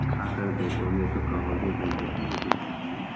खाकर देखोगे तो कहोगे भैया ये बिरयानी हैं।